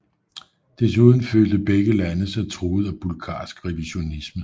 Desuden følte begge lande sig truet af bulgarsk revisionisme